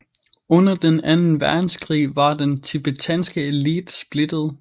Under Den anden Verdenskrig var den tibetanske elite splittet